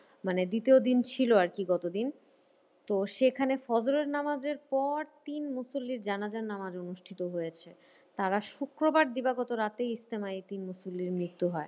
মানে দ্বিতীয় দিন ছিল আরকি গতদিন। তো সেখানে হজরত নাবাজের পর তিন মুসল্লির জানাজার নাবাজ অনুষ্ঠিত হয়েছে। তারা শুক্রবার দিবাগত রাতেই এই তিন মুসল্লির মৃত্যু হয়।